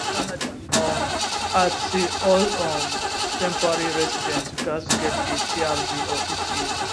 canada um add say all um temporary residents gatz get a trv or eta